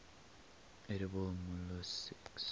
edible molluscs